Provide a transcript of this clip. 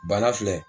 Bana filɛ